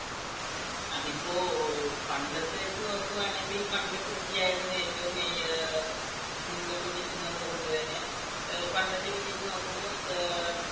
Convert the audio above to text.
അതിപ്പോ പണ്ടത്തെവെച്ചു നോക്കുവാണെങ്കിൽ പണ്ട് കൃഷിയായിരുന്നു ഏറ്റവും ഏർ മുൻപന്തിയിൽ നിൽക്കുന്നത് കൊണ്ടുതന്നെ പണ്ടത്തെ രീതി വെച്ച് നോക്കുമ്പോൾ ഏർ